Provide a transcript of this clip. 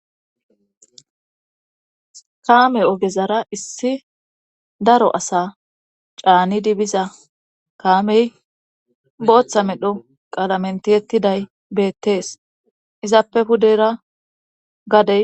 kaame ogezara issi daro asa caani dibiza kaamey booththa medho qalamentiyettiday beettees izappe hudera gadey